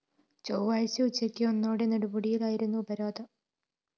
ചൊവ്വാഴ്ച ഉച്ചയ്ക്ക് ഒന്നോടെ നെടുമുടിയിലായിരുന്നു ഉപരോധം